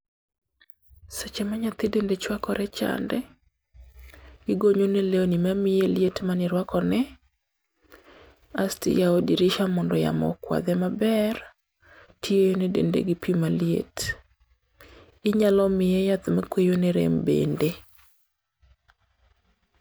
Seche ma nyathi dende chuakore chande, igonyo ne lewni mamiye liet mane irwakone, asto iyao dirisha mondo yamo okwadhe maber, tiene dende gi pi maliet. Inyalo miye yath makweyo ne rem bende.